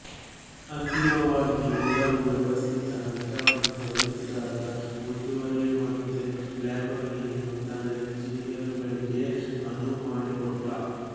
ಅಂತಿಮವಾಗಿ ಎಲ್ಲವೂ ವ್ಯವಸ್ಥಿತ ಹಂತವನ್ನು ತಲುಪಿದಾಗ ಮುಂದುವರಿಯುವಂತೆ ಲಂಬೋರ್ಘಿನಿಯು ತನ್ನ ಎಂಜಿನಿಯರುಗಳಿಗೆ ಅನುವುಮಾಡಿಕೊಟ್ಟ